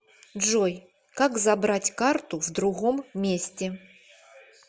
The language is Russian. джой как забрать карту в другом месте